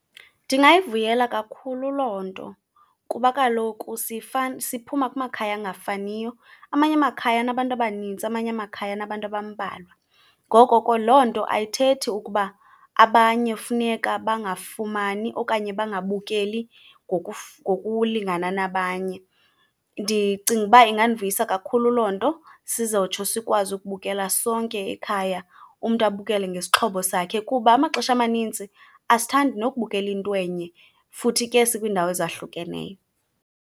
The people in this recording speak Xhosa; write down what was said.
Ndingayivuyela kakhulu loo nto kuba kaloku siphuma kumakhaya angafaniyo. Amanye amakhaya anabantu abanintsi, amanye amakhaya anabantu abambalwa, ngoko ke loo nto ayithethi ukuba abanye funeka bangafumani okanye bangabukeli ngokulingana nabanye. Ndicinga uba ingandivuyisa kakhulu loo nto sizotsho sikwazi ukubukela sonke ekhaya, umntu abukele ngesixhobo sakhe. Kuba amaxesha amanintsi asithandi nokubukela into enye, futhi ke sikwiindawo ezahlukeneyo.